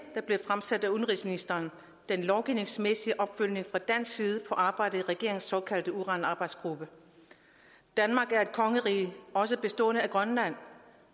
der blev fremsat af udenrigsministeren den lovgivningsmæssige opfølgning fra dansk side på arbejdet i regeringens såkaldte uranarbejdsgruppe danmark er et kongerige også bestående af grønland